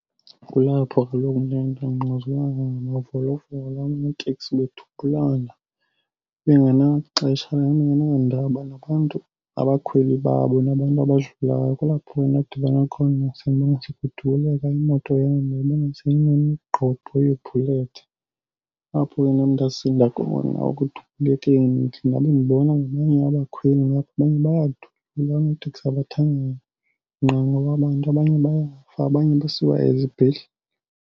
Kulapho kaloku le nto kungquzulwana ngamavolovolo oonoteksi bedubulana, bengenaxesha, bengenadaba nabantu abakhweli babo nabantu abadlulayo. Kulaph ndadibana khona kudubuleka imoto yam, ndayibona seyinomgqobho weebhulethi, apho ke nam ndasinda khona ekudubulekeni. Ndabe ndibona nabanye abakhweli ngapha abanye bayadutyulwa oonoteksi abathanga nqa ngoba abantu abanye bayafa abanye basiwa ezibhedlele.